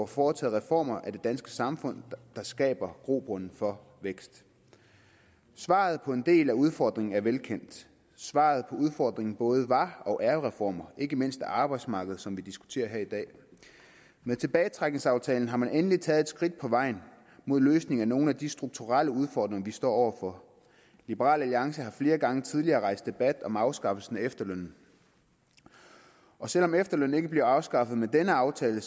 foretager reformer af det danske samfund der skaber grobund for vækst svaret på en del af udfordringen er velkendt svaret på udfordringen både var og er jo reformer ikke mindst af arbejdsmarkedet som vi diskuterer her i dag med tilbagetrækningsaftalen har man endelig taget et skridt på vejen mod en løsning af nogle af de strukturelle udfordringer vi står over for liberal alliance har flere gange tidligere rejst debat om afskaffelse af efterlønnen og selv om efterlønnen ikke bliver afskaffet med denne aftale